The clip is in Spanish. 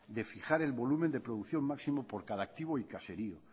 de fijar el volumen de producción máximo por cada activo y caserío